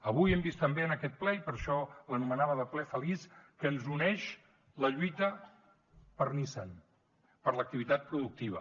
avui hem vist també en aquest ple i per això l’anomenava ple feliç que ens uneix la lluita per nissan per l’activitat productiva